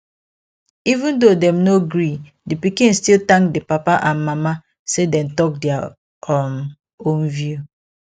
even though dem no agree di pikin still thank di papa and mama say dem talk their um own view